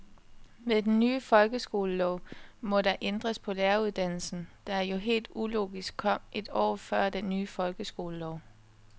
Med den ny folkeskolelov må der ændres på læreruddannelsen, der jo helt ulogisk kom et år før den ny folkeskolelov.